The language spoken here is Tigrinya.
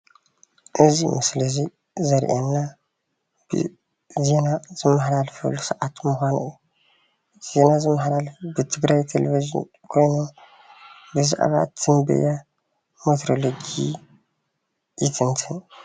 እዚ ምስሊ እዙይ ዘርእየና ዜና ዝመሓላለፈሉ ሰዓት ምዃኑ እዩ። ዜና ዝመሓላለፍ ብትግራይ ቴሌቭዠን ኮይኑ ብዘዕባ ትንበያ ሜትሮሎጂ ይትንትን።